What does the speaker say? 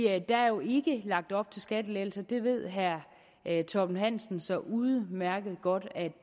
er jo ikke lagt op til skattelettelser og det ved herre torben hansen så udmærket godt